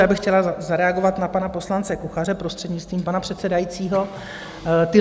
Já bych chtěla zareagovat na pana poslance Kuchaře, prostřednictvím pana předsedajícího.